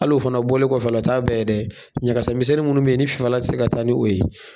Halo fana bɔlen kɔfɛ ala o ta bɛɛ ye dɛ, ɲagakasɛ minsɛnni munnu bɛ ye ni fifalan tɛ se ka taa ni o ye.